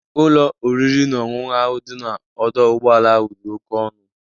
Ụlọ oriri na ọṅụṅụ ahụ dị n'ọdọ ụgbọala ahụ dị oke ọnụ.